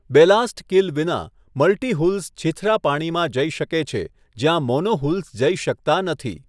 Ballast keel વિના, multihulls છીછરા પાણીમાં જઈ શકે છે જ્યાં મોનોહુલ્સ જઈ શકતા નથી.